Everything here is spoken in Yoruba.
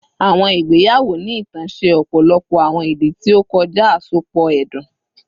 Awọn igbeyawo ni itan ṣe ọpọlọpọ awọn idi ti o kọja asopọ ẹdun